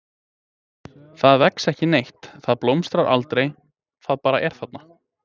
Það vex ekki neitt, það blómstrar aldrei, það bara er þarna.